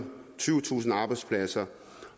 tyvetusind arbejdspladser